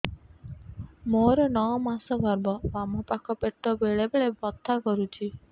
ମୋର ନଅ ମାସ ଗର୍ଭ ବାମ ପାଖ ପେଟ ବେଳେ ବେଳେ ବଥା କରୁଛି